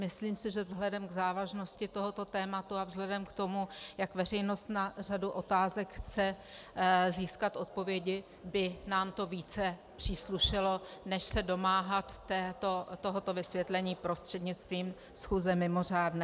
Myslím si, že vzhledem k závažnosti tohoto tématu a vzhledem k tomu, jak veřejnost na řadu otázek chce získat odpovědi, by nám to více příslušelo, než se domáhat tohoto vysvětlení prostřednictvím schůze mimořádné.